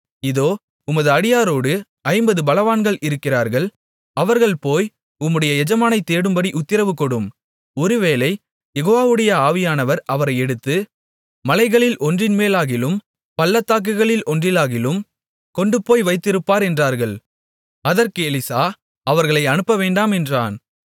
இதோ உமது அடியாரோடு ஐம்பது பலவான்கள் இருக்கிறார்கள் அவர்கள் போய் உம்முடைய எஜமானைத் தேடும்படி உத்திரவு கொடும் ஒருவேளை யெகோவாவுடைய ஆவியானவர் அவரை எடுத்து மலைகளில் ஒன்றின் மேலாகிலும் பள்ளத்தாக்குகளில் ஒன்றிலாகிலும் கொண்டுபோய் வைத்திருப்பார் என்றார்கள் அதற்கு எலிசா அவர்களை அனுப்பவேண்டாம் என்றான்